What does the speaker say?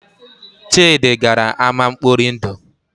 Chidi gara ámá nkpọri ndụ